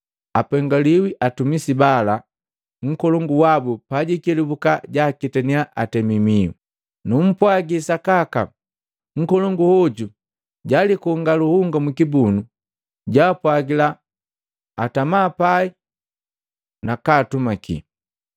Apengaliwi hatumisi bala nkolongu wabu pajiikelubuka jaaketaniya atemi mihu! Numpwaji sakaka, nkolongu hoju jaalikonga luhunga mwikibunu, jaapwagila atamapai nakaatumaki.